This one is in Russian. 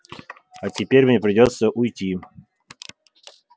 а теперь мне придётся уйти